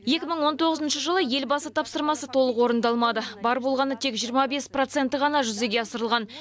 екі мың он тоғызыншы жылы елбасы тапсырмасы толық орындалмады бар болғаны тек жиырма бес проценті ғана жүзеге асырылған